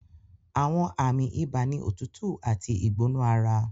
Àwọn àmì ibà ni òtútù àti ìgbóná ara